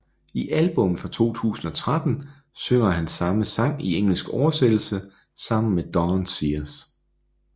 I albummet fra 2013 synger han samme sang i engelsk oversættelse sammen med Dawn Sears